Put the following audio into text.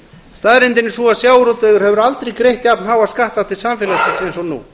staðreyndin er sú að sjávarútvegur hefur aldrei greitt jafnháa skatta til samfélagsins og nú